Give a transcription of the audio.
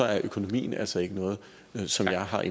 er økonomien altså ikke noget som jeg har